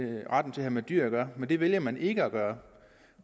have med dyr at gøre men det valgte man ikke at gøre